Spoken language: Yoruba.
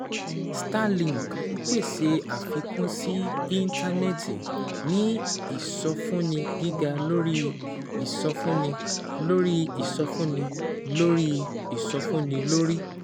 Starlink ń pèsè àfikún sí Íńtánẹ́ẹ̀tì ní ìsọfúnni gíga lórí ìsọfúnni lórí ìsọfúnni lórí ìsọfúnni lórí